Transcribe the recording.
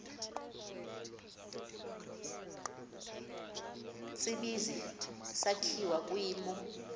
tsibizi sakhiwa kwimo